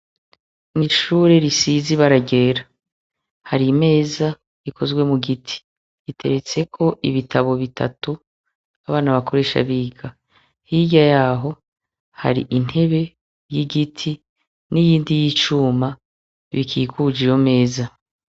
Mw'ishure risize ibara ryera, hari imeza ikozwe mu giti; iteretseko ibitabo bitatu abana bakoresha biga. Hirya y'aho hari intebe y'igiti n'iyindi y'icuma bikikuje iyo meza.